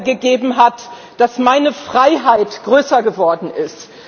gegeben hat, dass meine Freiheit größer geworden ist.